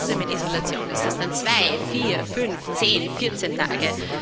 Muss man trotzdem in Isolation? Sind es dann zwei, vier, fünf, zehn, vierzehn Tage?